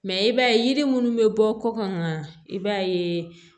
Mɛ i b'a ye yiri minnu bɛ bɔ kɔkan i b'a ye